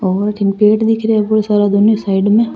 और अथीन पेड़ दिखे रे बहुत सारा दोनों साइड में।